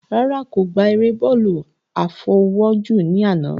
Rárá, kò gbá eré bọ́ọ̀lù àfọwọ́jù ní àná